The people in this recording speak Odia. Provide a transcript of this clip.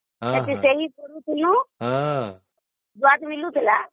ସେଠି ସେହିଦିନୁ ଦୁଆତ ମିଳୁଥିଲା ହଁ